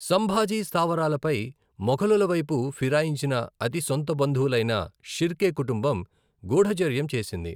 సంభాజీ స్థావరాలపై మొఘలుల వైపు ఫిరాయించిన అతి సొంత బంధువులైన షిర్కె కుంటుంబం గూఢచర్యం చేసింది.